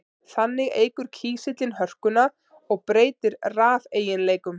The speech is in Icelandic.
Þannig eykur kísillinn hörkuna og breytir rafeiginleikum.